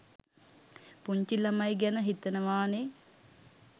පුංචි ළමයි ගැන හිතනවා නේ?